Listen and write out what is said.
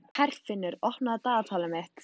Herfinnur, opnaðu dagatalið mitt.